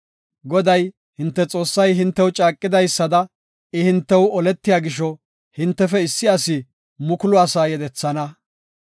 Goday, hinte Xoossay hintew caaqidaysada, I hintew oletiya gisho, hintefe issi asi mukulu asaa yedethana.